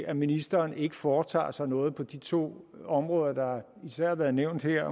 at ministeren ikke foretager sig noget på de to områder der især har været nævnt her